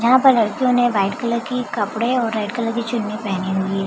जहाँ पर लड़कियों ने वाइट कलर की कपड़े और रेड कलर के चुन्नी पहनी हुई है।